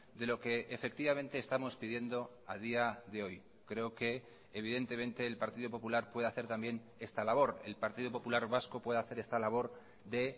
de lo que efectivamente estamos pidiendo a día de hoy creo que evidentemente el partido popular puede hacer también esta labor el partido popular vasco puede hacer esta labor de